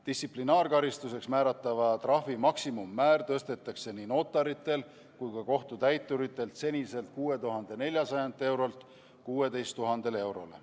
Distsiplinaarkaristuseks määratava trahvi maksimummäär tõstetakse nii notaritel kui ka kohtutäituritel seniselt 6400 eurolt 16 000 eurole.